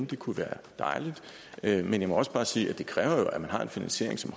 det kunne være dejligt men jeg må også bare sige at det jo kræver at man har en finansiering som